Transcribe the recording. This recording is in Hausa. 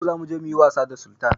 Yau za muje muyi was da Sultan